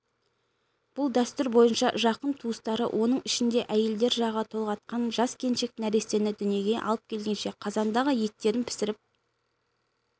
бұл дәстүр бойынша жақын туыстары оның ішінде әйелдер жағы толғатқан жас келіншек нәрестені дүниеге алып келгенше қазандағы еттерін пісіріп